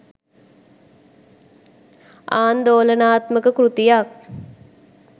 ආන්දෝලනාත්මක කෘතියක්